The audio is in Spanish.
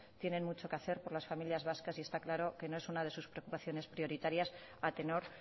tienen mucho que hacer por las familias vascas y está claro que no es una de sus preocupaciones prioritarias a tenor